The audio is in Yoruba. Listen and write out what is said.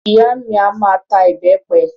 Ìyá mi a máa ta ìbẹpẹ